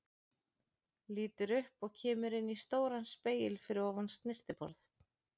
Lítur upp og kemur inn í stóran spegil fyrir ofan snyrtiborð.